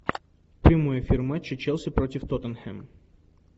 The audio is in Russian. прямой эфир матча челси против тоттенхэм